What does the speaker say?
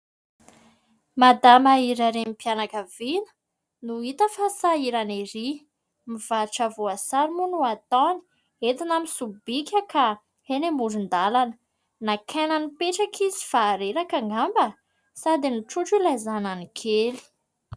Madama iray renim-pianakaviana, no hita fa sahirana ery. Mivarotra voasary moa no ataony, entina amin'ny sobika ka eny amoron-dalana. Naka aina nipetraka izy fa reraka angamba, sady mitrotro ilay zanany kely.